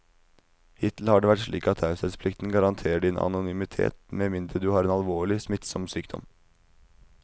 Hittil har det vært slik at taushetsplikten garanterer din anonymitet med mindre du har en alvorlig, smittsom sykdom.